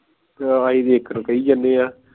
ਆਹ ਅਸੀਂ ਇਕ ਨੂੰ ਕਹਿ ਜਾਣੇ ਆ